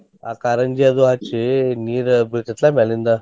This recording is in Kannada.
ಆ ಕಾರಂಜಿ ಅದು ಹಚ್ಚಿ ನೀರ್ ಬೀಳ್ತೆತ್ಲಾ ಮ್ಯಾಲಿಂದ.